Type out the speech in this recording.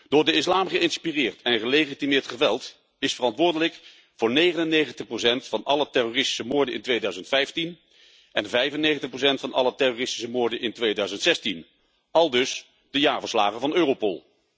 Door de islam geïnspireerd en gelegitimeerd geweld is verantwoordelijk voor 99 van alle terroristische moorden in 2015 en 95 van alle terroristische moorden in 2016, aldus de jaarverslagen van Europol.